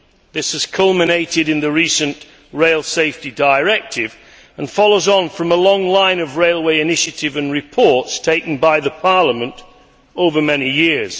This has culminated in the recent Rail Safety Directive and follows on from a long line of railway initiatives and reports taken by Parliament over many years.